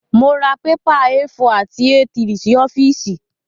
Mọ ra pépà A4 àti A3 sí ọ́fíìsì.